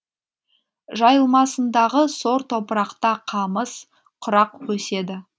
жайылмасындағы сор топырақта қамыс құрақ өседі